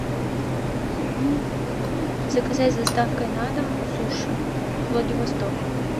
заказать с доставкой на дом суши владивосток